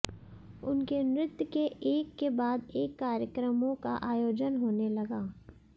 उनके नृत्य के एक के बाद एक कार्यक्रमों का आयोजन होने लगा